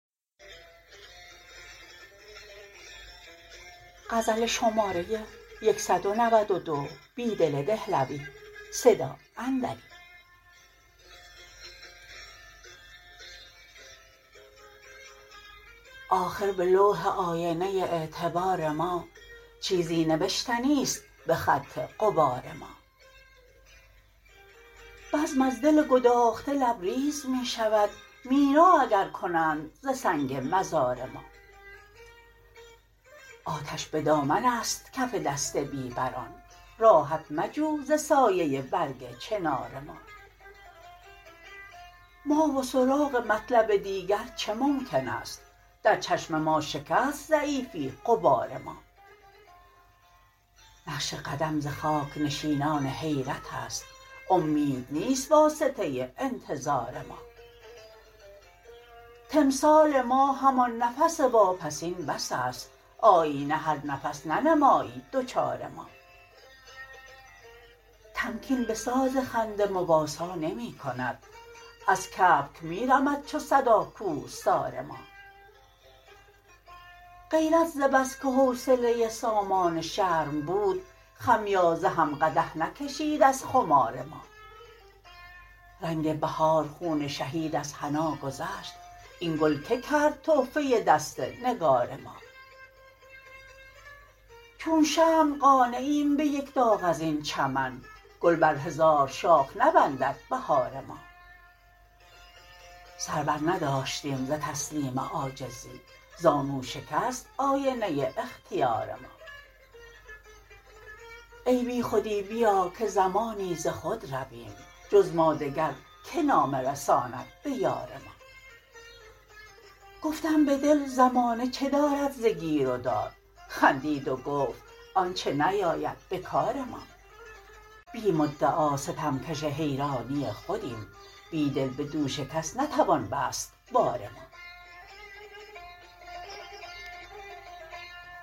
آخر به لو ح آ ینه اعتبار ما چیزی نوشتنی ست به خط غبار ما بزم از دل گداخته لبریز می شود مینا اگر کنند ز سنگ مزار ما آتش به دامن است کف دست بی بران راحت مجو ز سایه برگ چنار ما ما و سراغ مطلب دیگر چه ممکن است در چشم ما شکست ضعیفی غبار ما نقش قدم ز خاک نشینان حیرت است امید نیست واسطه انتظار ما تمثال ما همان نفس واپسین بس ست آیینه هر نفس ننمایی دچار ما تمکین به ساز خنده مواسا نمی کند از کبک می رمد چو صدا کوهسار ما غیرت ز بس که حوصله سامان شرم بود خمیازه هم قدح نکشید از خمار ما رنگ بهار خون شهید از حنا گذشت این گل که کرد تحفه دست نگار ما چون شمع قانعیم به یک داغ از این چمن گل بر هزار شاخ نبندد بهار ما سر برنداشتیم ز تسلیم عاجزی زانو شکست آینه اختیار ما ای بی خودی بیا که زمانی ز خود رویم جز ما دگر که نامه رساند به یار ما گفتم به دل زمانه چه دارد ز گیرودار خندید و گفت آن چه نیاید به کار ما بی مدعا ستمکش حیرانی خودیم بیدل به دوش کس نتوان بست بار ما